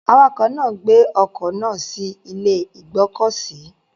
Awakọ̀ náà gbé ọkọ̀ náà sí ilé ìgbọ́kọ̀sí.